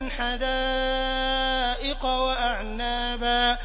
حَدَائِقَ وَأَعْنَابًا